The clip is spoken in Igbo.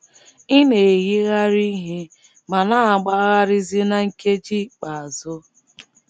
Ị̀ na - eyigharị ihe ma na - agbagharịzi na nkeji ikpeazụ?